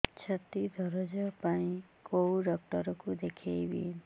ଛାତି ଦରଜ ପାଇଁ କୋଉ ଡକ୍ଟର କୁ ଦେଖେଇବି